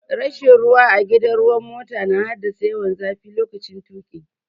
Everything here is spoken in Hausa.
Rashin ruwa a gidan ruwan mota na haddasa yawan zafi lokaci tuƙi.